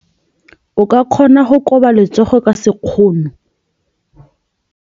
O ka kgona go koba letsogo ka sekgono.